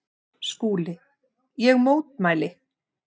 SKÚLI: Ég mótmæli!